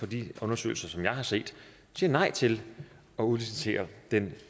de undersøgelser jeg har set nej til at udlicitere den